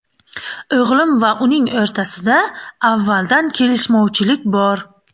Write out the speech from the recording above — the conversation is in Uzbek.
O‘g‘lim va uning o‘rtasida avvaldan kelishmovchilik bor.